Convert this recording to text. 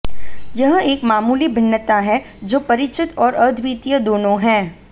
यह एक मामूली भिन्नता है जो परिचित और अद्वितीय दोनों है